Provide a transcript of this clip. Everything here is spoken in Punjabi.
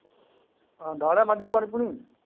ਹਾਂ ਡਾਹ ਲਿਆ ਮੱਝ ਨੂੰ ਪਾਣੀ ਪੁਣੀ।